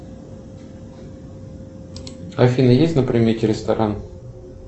афина есть на примете ресторан